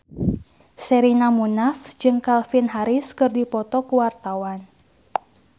Sherina Munaf jeung Calvin Harris keur dipoto ku wartawan